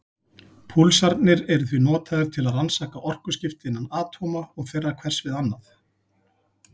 Púlsarnir eru því notaðir til að rannsaka orkuskipti innan atóma og þeirra hvers við annað.